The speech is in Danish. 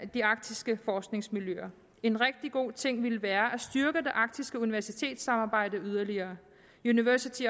de arktiske forskningsmiljøer en rigtig god ting ville være at styrke det arktiske universitetssamarbejde yderligere university